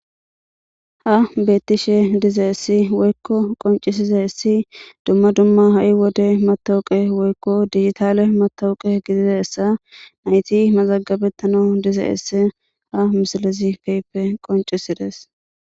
ha beettishe dizeyissi woykko qoncisiza essi dumma dumma ha7i wode matawuqe woykko digitaale matawuqe gidize essa nayti mazagabettano dizeyisse ha misalezi kehippe qoncisides